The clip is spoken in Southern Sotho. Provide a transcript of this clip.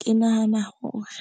Ke nahana hore